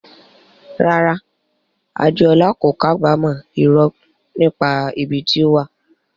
Rárá, Adeola kò kábàámọ̀ irọ́ nípa ibi tí ó wà.